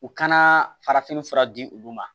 U kana farafinfura di olu ma